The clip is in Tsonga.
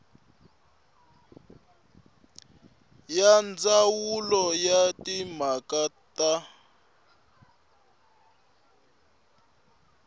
ya ndzawulo ya timhaka ta